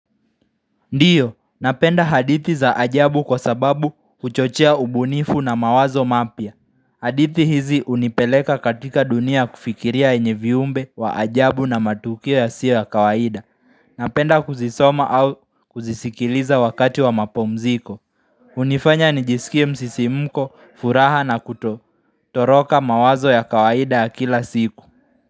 Ndiyo, napenda hadithi za ajabu kwa sababu huchochea ubunifu na mawazo mapya hadithi hizi hunipeleka katika dunia ya kufikiria yenye viumbe wa ajabu na matukio yasiyo ya kawaida Napenda kuzisoma au kuzisikiliza wakati wa mapomziko hunifanya nijisikie msisimko, furaha na kuto, toroka mawazo ya kawaida ya kila siku.